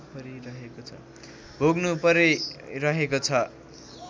भोग्नु परिरहेको छ